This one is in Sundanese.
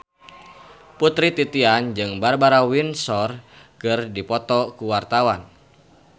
Putri Titian jeung Barbara Windsor keur dipoto ku wartawan